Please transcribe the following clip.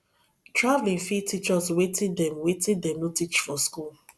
travelling fit teach us wetin dem wetin dem no teach for school